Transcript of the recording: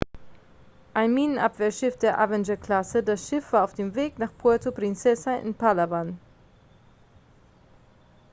ein minenabwehrschiff der avenger-klasse das schiff war auf dem weg nach puerto princesa in palawan